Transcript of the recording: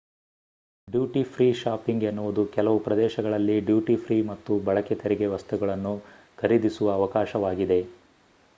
duty-free shopping ಎನ್ನುವುದು ಕೆಲವು ಪ್ರದೇಶಗಳಲ್ಲಿ ಡ್ಯೂಟಿ-ಫ್ರೀ ಮತ್ತು ಬಳಕೆ ತೆರಿಗೆ ವಸ್ತುಗಳನ್ನು ಖರೀದಿಸುವ ಅವಕಾಶವಾಗಿದೆ